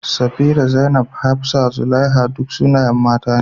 Safirah, Zainab, Hafsah, Zulaiha, duk sunayen mata ne.